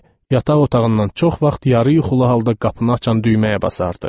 Yataq otağından çox vaxt yarı yuxulu halda qapını açan düyməyə basardı.